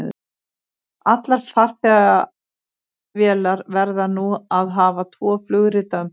Allar farþegavélar verða nú að hafa tvo flugrita um borð.